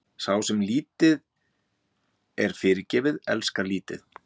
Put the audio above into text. Sá, sem lítið er fyrirgefið, elskar lítið.